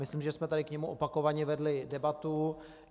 Myslím, že jsme tady k němu opakovaně vedli debatu.